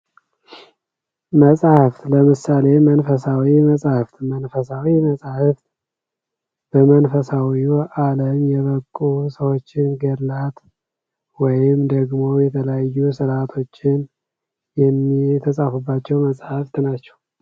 መፅሐፍ ለምሳሌ መንፈሳዊ መፅሐፍ ፡ መንፈሳዊ መፅሐፍ በመንፈሳዊ አለም የበቁ ሰዎችን ገድላት ወይም ደግሞ የተለያዩ ስርአቶችን የተፃፉባቸው መፅሐፍት ናቸው ።